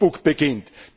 via Facebook beginnt.